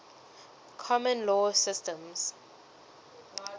common law systems